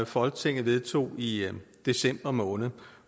folketinget vedtog i december måned